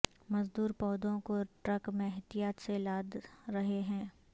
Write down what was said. مزدور پودوں کو ٹرک میں احتیاط سے لاد رہے ہیں